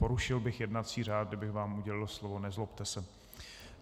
Porušil bych jednací řád, kdybych vám udělil slovo, nezlobte se.